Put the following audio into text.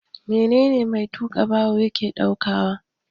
Menene mai tuka babur ke daukawa?